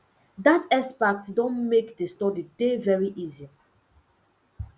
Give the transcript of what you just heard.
dat expert don make the study dey very easy